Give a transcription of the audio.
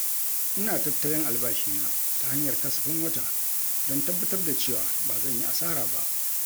Ina tattalin albashina ta hanyar kasafin wata don tabbatar da cewa ba zan yi asara ba.